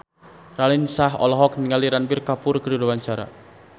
Raline Shah olohok ningali Ranbir Kapoor keur diwawancara